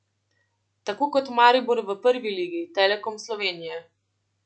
Tako kot Maribor v Prvi ligi Telekom Slovenije!